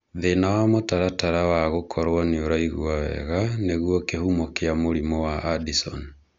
Thĩna wa mũtaratara wa gũkoro nĩ ũraigua wega nĩguo kĩhumo kĩa mũrimũ wa Addison.